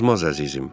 Azmaz, əzizim.